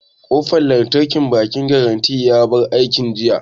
Ƙofan lantarkin bankin garanty ya bar aiki jiya